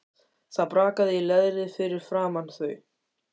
Það brakaði í leðri fyrir framan þau.